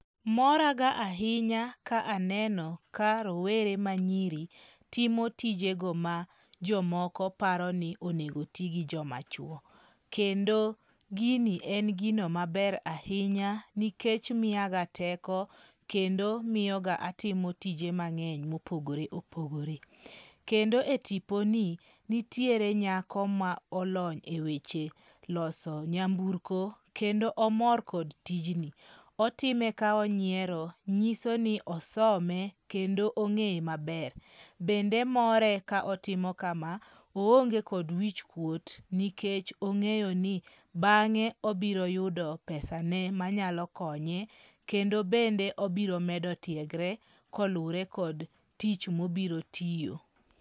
Moraga ahinya ka aneno ka rowere manyiri timo tijego ma jomoko paro ni onegotigi joma chwo. Kendo gini en gino maber ahinya nikech miyaga teko kendo miyoga atimo tije mang'eny mopogore opogore. Kendo e tipo ni nitiere nyako ma olony e weche loso nyamburko kendo omor kod tijni. Otime ka onyiero nyiso ni osome kendo ong'eye maber. Bende more ka otimo kama oonge kod wichkuot nikech ong'eyo ni bang'e obiro yudo pesa ne manyalo konye. Kendo bende obiro medo tiegre kolure kod tich mobiro tiyo.